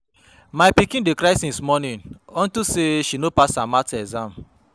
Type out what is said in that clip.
My pikin dey cry since morning unto say she no pass her math exam